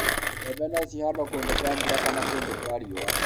mbembe no cihandwo kũndũ kwa mbura na kũndũ kwa riũa